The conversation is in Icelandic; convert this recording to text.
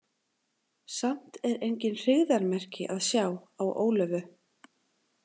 Samt er engin hryggðarmerki að sjá á Ólöfu.